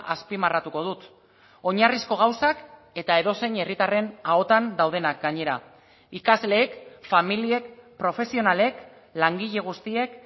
azpimarratuko dut oinarrizko gauzak eta edozein herritarren ahotan daudenak gainera ikasleek familiek profesionalek langile guztiek